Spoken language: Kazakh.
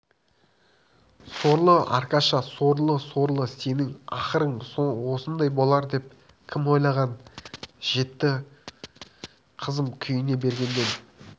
сорлы аркаша сорлы-сорлы сенің ақырың осындай болар деп кім ойлаған жетті қызым күйіне бергеннен